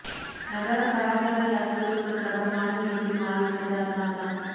நகரம் கலாச்சார யாத்திரை ஒரு பிரபலமான இடத்தில் மாறிவிட்டது அதனால் தான்